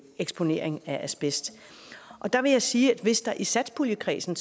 eksponering af asbest der vil jeg sige at hvis der i satspuljekredsen